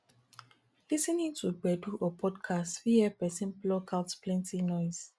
lis ten ing to gbedu or podcast fit help person block out plenty noise